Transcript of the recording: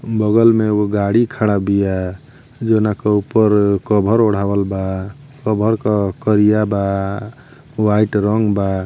बगल में उ गाड़ी खड़ा बिया जोना के उप्पर अ कवर ओढ़ावल बा कवर क करिया बा व्हाइट रंग बा।